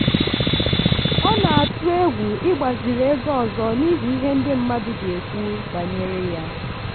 ọ na-atụ egwu ịgbaziri ego ọzọ n'ihi ihe ndị mmadụ ga-ekwu banyere ya.